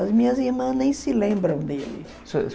As minhas irmãs nem se lembram dele.